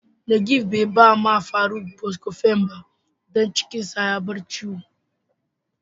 Nageef be da ma Faruk " Buscofen " don cikin da ya bar ciwo.